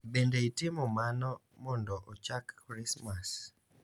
Bende itimo mano mondo ochak Krismas.